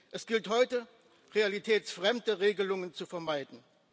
Es gilt heute, realitätsfremde Regelungen zu vermeiden.